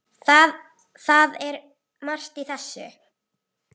Það er margt í þessu.